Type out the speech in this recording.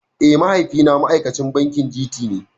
Eh mahaifi na ma'aikacin bankin G.T ne